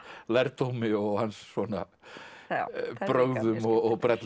lærdómi og hans svona brögðum og brellum